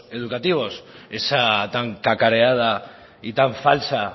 educativos esa tan cacareada y tan falsa